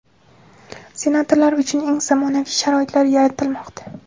senatorlar uchun eng zamonaviy sharoitlar yaratilmoqda.